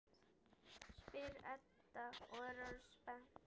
spyr Edda og er orðin spennt.